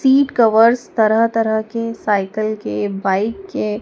seat covers तरह तरह के साइकल के बाइक के--